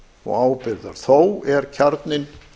og ábyrgðar þó er kjarninn